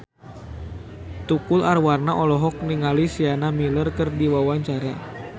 Tukul Arwana olohok ningali Sienna Miller keur diwawancara